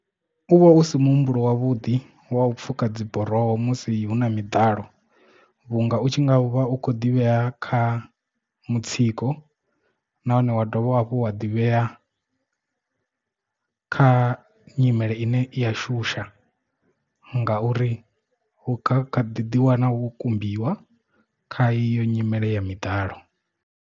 U vha u si muhumbulo wavhuḓi wa u pfhuka dzi buroho musi huna miḓalo vhunga u tshi nga vha u kho ḓivhea kha mutsiko nahone wa dovha hafhu wa ḓivhea kha nyimele ine i ya shusha ngauri unga khaḓi ḓi wana wo kumbiwa kha iyo nyimele ya miḓalo.